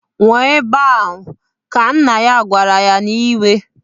Nwụọ ebe ahụ! Ka nna ya gwara ya n'iwe.